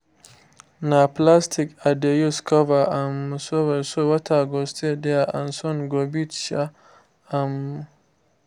na plastic i dey use cover um soil so water go stay there and sun no go beat um am